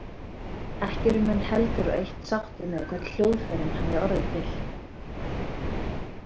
Ekki eru menn heldur á eitt sáttir með hvernig hljóðfærin hafi orðið til.